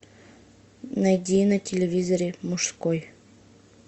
найди на телевизоре мужской